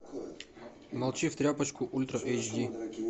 молчи в тряпочку ультра эйч ди